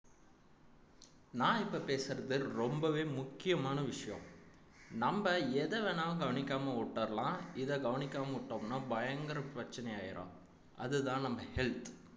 நான் இப்ப பேசுறது ரொம்பவே முக்கியமான விஷயம் நம்ப எத வேணாலும் கவனிக்காம விட்டுரலாம் இதை கவனிக்காம விட்டோம்ன்னா பயங்கர பிரச்சனை ஆயிரும் அதுதான் நம்ம health